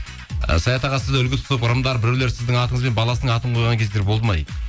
і саят аға сізді үлгі тұтып ырымдап біреулер сіздің атыңызбен баласының атын қойған кездер болды ма дейді